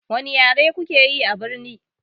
Wani yare kuke yi abirni?